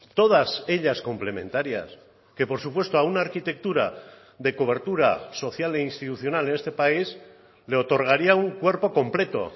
todas ellas complementarias que por supuesto a una arquitectura de cobertura social e institucional en este país le otorgaría un cuerpo completo